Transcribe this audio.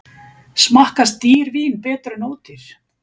Smakkast dýr vín betur en ódýr